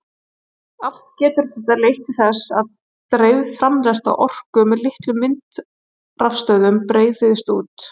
Allt getur þetta leitt til þess að dreifð framleiðsla orku með litlum vindrafstöðvum breiðist út.